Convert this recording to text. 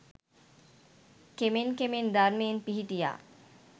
කෙමෙන් කෙමෙන් ධර්මයේ පිහිටියා